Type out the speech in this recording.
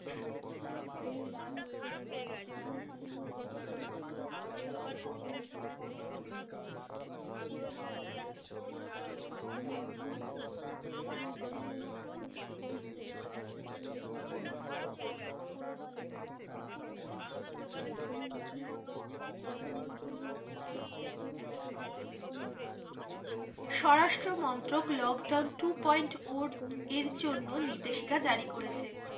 স্বরাষ্ট্র মন্ত্রক lockdown two point উর্ধ এর জন্য নির্দেশিকা জারি করেছে।